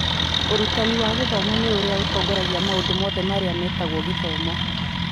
Ũrutani wa gĩthomo nĩ ũrĩa ũtongoragia maũndũ mothe marĩa metagwo gĩthomo.